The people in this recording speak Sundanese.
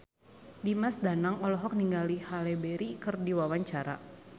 Dimas Danang olohok ningali Halle Berry keur diwawancara